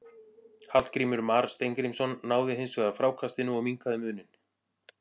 Hallgrímur Mar Steingrímsson náði hins vegar frákastinu og minnkaði muninn.